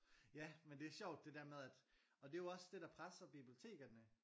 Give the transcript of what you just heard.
Ja men det er sjovt det der med at og det er jo også det der presser bibliotekerne